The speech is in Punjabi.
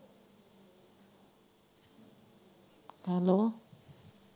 ਹੈਲੋ।